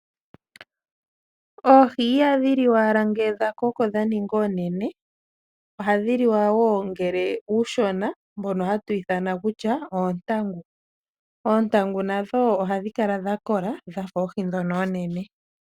Oohi ihadhi liwa owala ngele dha koko dha ninga oonene, ohadhi liwa wo ngele oonshona, ndhono hatu ithana kutya odho oontangu. Oontangu nadho ohadhi kala dha kola dha fa oohi ndhono oonene.